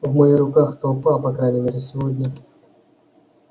в моих руках толпа по крайней мере сегодня